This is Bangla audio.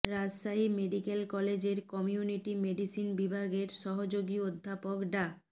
রাজশাহী মেডিকেল কলেজের কমিউনিটি মেডিসিন বিভাগের সহযোগী অধ্যাপক ডা